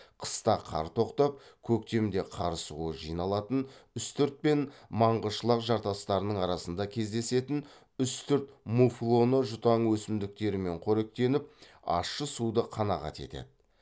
қыста қар тоқтап көктемде қар суы жиналатын үстірт пен маңғышылақ жартастарының арасында кездесетін үстірт муфлоны жұтаң өсімдіктермен қоректеніп ащы суды қанағат етеді